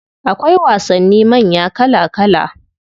Akwai wasannin manya kala kala.